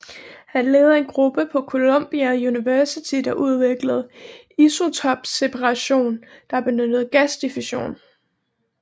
Han ledede en gruppe på Columbia University der udviklede isotopseparation der benyttede gasdiffusion